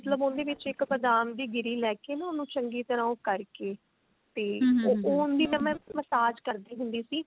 ਮਤਲਬ ਉਹਦੇ ਵਿੱਚ ਇੱਕ ਬਾਦਾਮ ਦੀ ਗਿਰੀ ਲੈਕੇ ਨਾ ਉਹਨੂੰ ਚੰਗੀ ਤਰ੍ਹਾਂ ਉਹ ਕਰਕੇ ਤੇ ਉਹਦੀ ਨਾ mam message ਕਰਦੀ ਹੁੰਦੀ ਸੀ